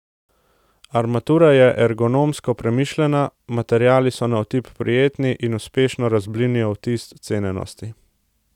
Armatura je ergonomsko premišljena, materiali so na otip prijetni in uspešno razblinijo vtis cenenosti.